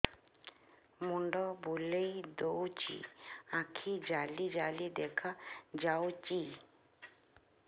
ମୁଣ୍ଡ ବୁଲେଇ ଦଉଚି ଆଖି ଜାଲି ଜାଲି ଦେଖା ଯାଉଚି